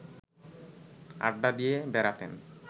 আড্ডা দিয়ে বেড়াতেন